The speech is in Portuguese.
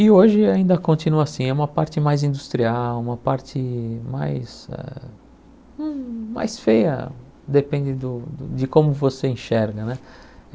E hoje ainda continua assim, é uma parte mais industrial, uma parte mais ah hum mais feia, depende do co de como você enxerga né.